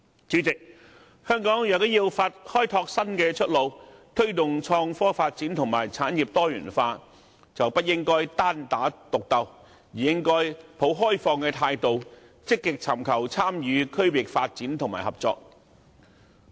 主席，香港如要開拓新出路，推動創科發展和產業多元化，便不應單打獨鬥，而應抱開放態度，積極尋求參與區域發展和合作。